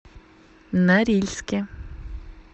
норильске